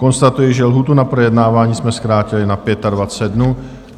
Konstatuji, že lhůtu na projednávání jsme zkrátili na 25 dnů.